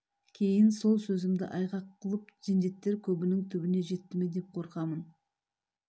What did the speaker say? кейін сол сөзімді айғақ қылып жендеттер көбінің түбіне жетті ме деп қорқамын